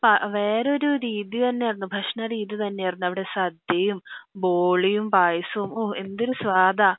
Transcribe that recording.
പ വേറെ ഒരു രീതി തന്നെ ആയിരുന്നു ഭക്ഷണ രീതി തന്നെ ആയിരുന്നു അവിടെ സദ്യയും ബോളിയും പായസവും ഓ എന്തൊരു സ്വദാ